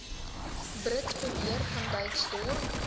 brits beweer vanwyksdorp